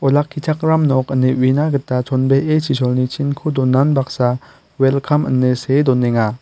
olakkichakram nok ine uina gita chonbee chisolni chinko donan baksa welkam ine see donenga.